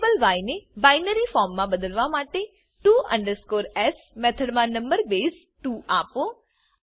variable ય ને binary form મા બદલવા માટે to s મેથડમા નંબર બેઝ 2 આપો